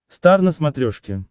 стар на смотрешке